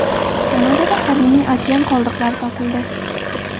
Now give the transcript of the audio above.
Kanadada qadimiy okean qoldiqlari topildi.